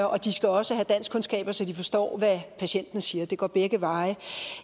og de skal også have danskkundskaber så de forstår hvad patienten siger det går begge veje